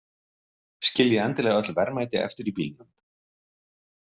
Skiljið endilega öll verðmæti eftir í bílnum.